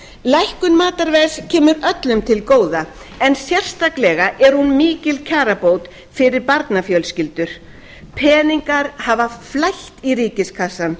lækkun matarverðs kemur öllum til góða en sérstaklega er hún mikil kjarabót fyrir barnafjölskyldur peningar hafa flætt í ríkiskassann